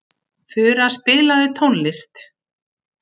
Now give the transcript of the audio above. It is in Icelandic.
Fura, spilaðu tónlist.